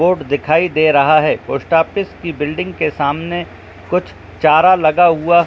board दिखाई दे रहा है पोस्ट ऑफिस की बिल्डिंग के सामने कुछ चारा लगा हुआ--